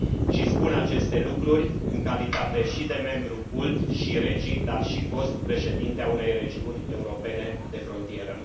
Și spun aceste lucruri în calitate și de membru CULT și REGI, dar și fost președinte a unei regiuni europene de frontieră.